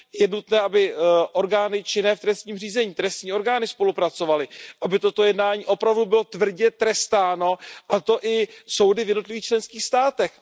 Je nutné, aby orgány činné v trestním řízení, trestní orgány spolupracovaly, aby toto jednání opravdu bylo tvrdě trestáno, a to i soudy v jednotlivých členských státech.